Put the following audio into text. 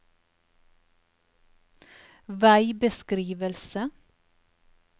veibeskrivelse